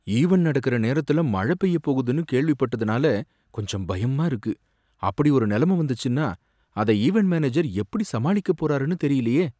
Event நடக்கிற நேரத்துல மழை பெய்ய போகுதுன்னு கேள்விப்பட்டதுனால கொஞ்சம் பயமா இருக்கு, அப்படி ஒரு நிலைமை வந்துச்சுன்னா அதை ஈவென்ட் மேனேஜர் எப்படி சமாளிக்க போறாருனு தெரியலயே.